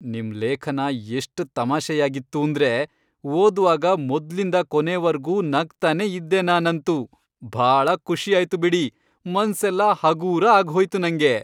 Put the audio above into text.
ನಿಮ್ ಲೇಖನ ಎಷ್ಟ್ ತಮಾಷೆಯಾಗಿತ್ತೂಂದ್ರೆ ಓದ್ವಾಗ ಮೊದ್ಲಿಂದ ಕೊನೆವರ್ಗೂ ನಗ್ತನೇ ಇದ್ದೆ ನಾನಂತೂ.. ಭಾಳ ಖುಷಿ ಆಯ್ತು ಬಿಡಿ, ಮನ್ಸೆಲ್ಲ ಹಗೂರ ಆಗ್ಹೋಯ್ತು ನಂಗೆ.